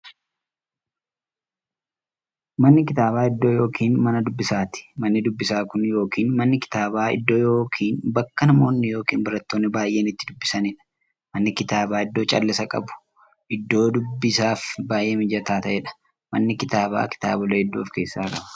Manni kitaaba iddoo yookiin Mana dubbisaati. Manni dubbisaa Kun yookiin Manni kitaaba iddoo yookiin bakka namoonni yookiin baratoonni baay'een itti dubbisaniidha. Manni kitaaba iddoo callisa qabu, iddoo dubbisaaf baay'ee mijataa ta'eedha. Manni kitaaba kitaabolee hedduu of keessaa qaba.